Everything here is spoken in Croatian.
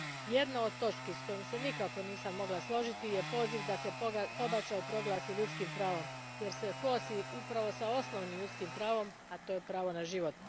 Jedna od točki s kojom se nikako nisam mogla složiti je poziv da se pobačaj proglasi ljudskim pravom jer se kosi upravo s osnovnim ljudskim pravom, a to je pravo na život.